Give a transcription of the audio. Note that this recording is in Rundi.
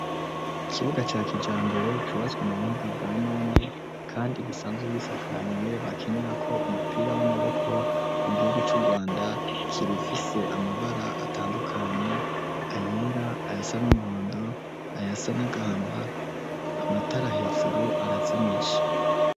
Ikibuga ca kija mbere cubatswe mu buhinga bwa none, kandi igisanzu bisakariye bakinira ko umupira w'amaboko mu gihugu c'urwanda kirifise amabara atandukanye ayera aya sa n'umuhondo aya sa nagahama amatara hejuru arazimici.